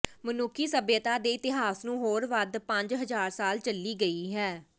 ਮਨੁੱਖੀ ਸਭਿਅਤਾ ਦੇ ਇਤਿਹਾਸ ਨੂੰ ਹੋਰ ਵੱਧ ਪੰਜ ਹਜ਼ਾਰ ਸਾਲ ਚੱਲੀ ਗਈ ਹੈ